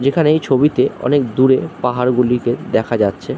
যেখানে এই ছবিতে অনেক দূরে পাহাড়গুলিকে দেখা যাচ্ছে।